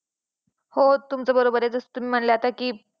हो तुमचं बरोबर आहे जसं तुम्ही म्हणल्या होत्या की